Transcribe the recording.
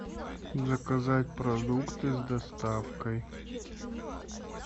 заказать продукты с доставкой